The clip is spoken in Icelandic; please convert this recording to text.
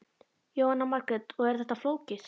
Jóhanna Margrét: Og er þetta flókið?